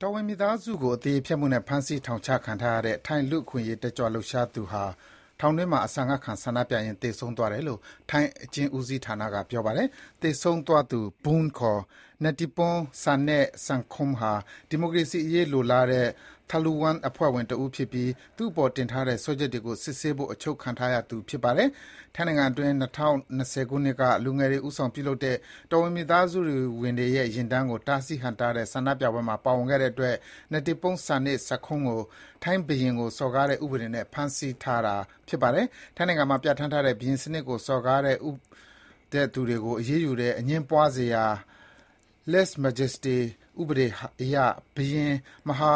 တော်ဝင်မိသားစုကို အသရေဖျက်မှုနဲ့ ဖမ်းဆီး ထောင်ချခံထားရတဲ့ ထိုင်း လူ့အခွင့်အရေးတက်ကြွလှုပ်ရှားသူဟာ ထောင်တွင်းမှာ အစာငတ်ခံ ဆန္ဒပြရင်း သေဆုံးသွားတယ်လို့ ထိုင်းအကျဉ်းဦးစီးဌာနက ပြောပါတယ်။ သေဆုံးသွားသူ “Boong” ခေါ် Netiporn Sanae-sangkhom ဟာ ဒီမိုကရေစီအရေး လိုလားတဲ့ “Thaluwang” အဖွဲ့ဝင် တဦးဖြစ်ပြီး သူ့အပေါ်တင်ထားတဲ့ စွဲချက်တွေကို စစ်ဆေးဖို့ အချုပ်ချခံထားရသူ ဖြစ်ပါတယ်။ ထိုင်းနိုင်ငံအတွင်း ၂၀၂၀ ပြည့်နှစ်က လူငယ်တွေဦးဆောင်ပြုလုပ်တဲ့ တော်ဝင်မိသားစုဝင်တွေရဲ့ ယာဉ်တန်းကို တားဆီး ဟန့်တားတဲ့ ဆန္ဒပြပွဲမှာ ပါဝင်ခဲ့တဲ့အတွက် Netiporn Sanae-sangkhom ကို ဘုရင်စံနစ်ကို စော်ကားတဲ့ ဥပဒေနဲ့ ဖမ်းဆီးထားတာပါ။ ထိုင်းနိုင်ငံမှာ ပြဋ္ဌာန်းထားတဲ့ ဘုရင်စနစ်ကိုစော်ကားတဲ့သူတွေကို အရေးယူတဲ့ အငြင်းပွားစရာ ဥပဒေအရ ဘုရင် Maha